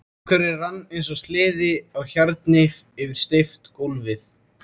Dúkurinn rann eins og sleði á hjarni yfir steypt gólfið.